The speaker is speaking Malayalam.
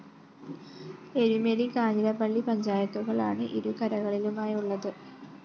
എരുമേലി കാഞ്ഞിരപ്പള്ളി പഞ്ചായത്തുകളാണ് ഇരു കരകളിലുമായുള്ളത്